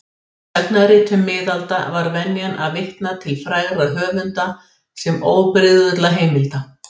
Í sagnaritum miðalda var venjan að vitna til frægra höfunda sem óbrigðulla heimilda.